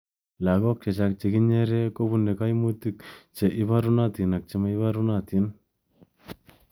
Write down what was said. Lakok chechang chekinyereekubune kaimutik che inarunatun ak che ma inabarunotin.